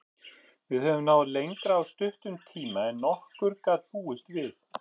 Við höfum náð lengra á stuttum tíma en nokkur gat búist við.